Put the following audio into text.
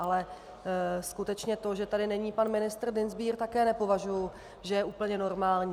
Ale skutečně to, že tady není pan ministr Dienstbier, také nepovažuji, že je úplně normální.